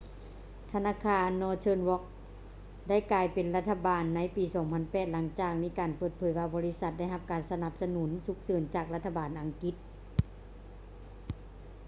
ທະນາຄານ northern rock ໄດ້ກາຍເປັນຂອງລັດຖະບານໃນປີ 2008 ຫລັງຈາກມີການເປີດເຜີຍວ່າບໍລິສັດໄດ້ຮັບການສະໜັບສະໜູນສຸກເສີນຈາກລັດຖະບານອັງກິດ